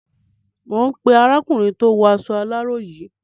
Mò ń pé arákùnrin tó waṣọ aláró yìí.